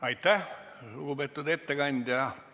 Aitäh, lugupeetud ettekandja!